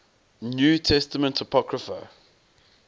new testament apocrypha